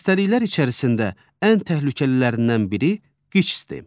Xəstəliklər içərisində ən təhlükəlilərindən biri QİÇS-dir.